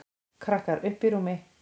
Krakkar: Uppi í rúmi.